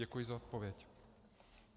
Děkuji za odpověď.